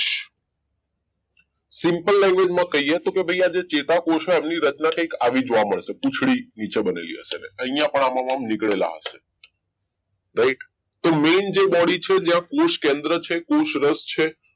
simple language કહીએ તો કે ભાઈ ચેતાકોષ એમની રચના કંઈક આવી જવા મળશે પૂંછડી નીચે બનેલી હશે અહીંયા પણ આમાં નીકળેલા હશે કંઈક તો જે main body છે કોષકેન્દ્ર છે કોષરસ છે